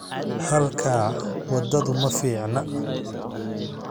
Halkaa waddadu ma fiicna